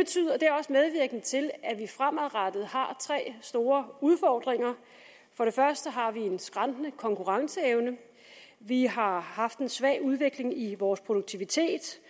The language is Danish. er til at vi fremadrettet har tre store udfordringer den første er en skrantende konkurrenceevne vi har haft en svag udvikling i vores produktivitet